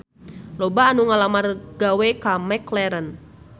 Loba anu ngalamar gawe ka McLaren